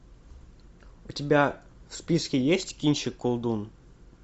у тебя в списке есть кинчик колдун